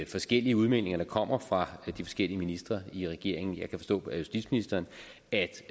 forskellige udmeldinger der kommer fra de forskellige ministre i regeringen jeg kan forstå på justitsministeren at